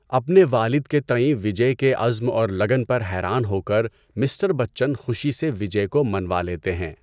اپنے والد کے تئیں وجے کے عزم اور لگن پر حیران ہو کر، مسٹر بچن خوشی سے وجے کو منوا لیتے ہیں۔